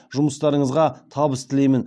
жұмыстарыңызға табыс тілеймін